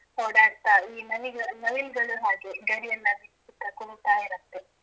ಓಡಾಡ್ತಾ ಈ ನವಿಲ ನವಿಲುಗಳು ಹಾಗೆ ಗರಿ ಎಲ್ಲ ಬಿಚ್ಚುತ್ತಾ ಕುಣಿತಾ ಇರುತ್ತೆ.